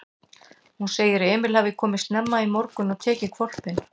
Hún segir að Emil hafi komið snemma í morgun og tekið hvolpinn.